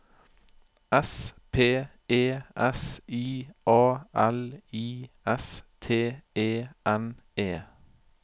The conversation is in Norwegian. S P E S I A L I S T E N E